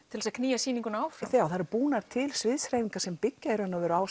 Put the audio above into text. til þess að knýja sýninguna áfram það eru búnar til sviðshreyfingar sem byggja í raun og veru á